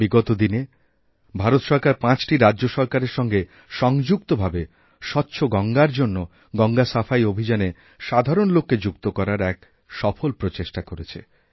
বিগত দিনেভারত সরকার পাঁচটি রাজ্যসরকারের সঙ্গে সংযুক্ত ভাবে স্বচ্ছ গঙ্গার জন্য গঙ্গাসাফাই অভিযানে সাধারণ লোককে যুক্ত করার এক সফল প্রচেষ্টা করেছে